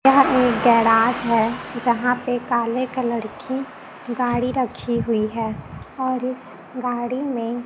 यह एक गैराज है जहां पे काले कलर की गाड़ी रखी हुई है और इस गाड़ी में--